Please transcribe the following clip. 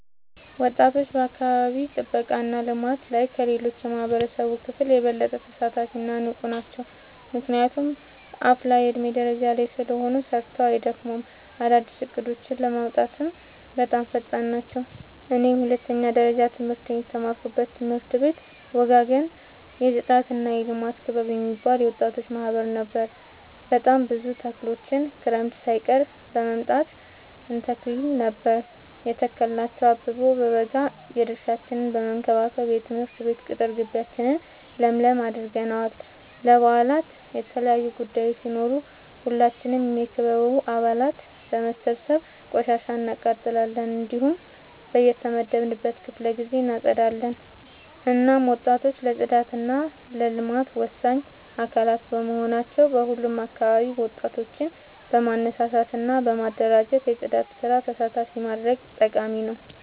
ወጣቶች በአካባቢ ጥብቃ እና ልማት ላይ ከሌላው የማህበረሰብ ክፍል የበለጠ ተሳታፊ እና ንቁ ናቸው። ምክንያቱም አፋላ የዕድሜ ደረጃ ላይ ስለሆኑ ሰርተው አይደክሙም፤ አዳዲስ እቅዶችን ለማውጣትም በጣም ፈጣን ናቸው። እኔ የሁለተኛ ደረጃ ትምህርቴን የተማርኩበት ትምህርት ቤት ወጋገን የፅዳትና የልማት ክበብ የሚባል የወጣቶች ማህበር ነበር። በጣም ብዙ ተክሎችን ክረምት ሳይቀር በመምጣ እንተክል ነበር የተከልናቸው አበቦ በበጋ የድርሻችን በመከባከብ የትምህርት ቤት ቅጥር ጊቢያችን ለምለም አድርገነዋል። ለበአላት የተለያዩ ቡዳዮች ሲኖሩ ሁላችንም የክበቡ አባላት በመሰብሰብ ቆሻሻ እናቃጥላለን። እንዲሁም በየተመደበልን ክፍለ ጊዜ እናፀዳለን። እናም ወጣቶች ለፅዳት እና ለልማት ወሳኝ አካላት በመሆናቸው በሁሉም አካባቢ ወጣቶችን በማነሳሳት እና በማደራጀት የፅዳት ስራ ተሳታፊ ማድረግ ጠቃሚ ነው።